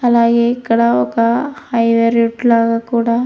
అలాగే ఇక్కడ ఒక హై వే రూట్ లాగా కూడా --